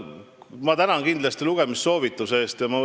Ma tänan kindlasti lugemissoovituse eest!